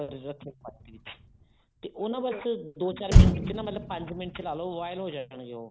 ਰੱਖ ਦੋ ਪਾਣੀ ਦੇ ਵਿੱਚ ਤੇ ਉਹ ਨਾ ਬੱਸ ਦੋ ਚਾਰ ਮਿੰਟ ਵੀ ਮਤਲਬ ਪੰਜ ਮਿੰਟ ਚਲਾਲੋ ਉਹ boil ਹੋ ਜਾਣਗੇ ਉਹ